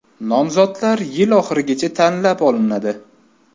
Nomzodlar yil oxirigacha tanlab olinadi.